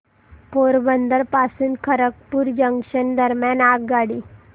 पोरबंदर पासून खरगपूर जंक्शन दरम्यान आगगाडी